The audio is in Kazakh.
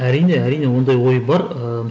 әрине әрине ондай ой бар ыыы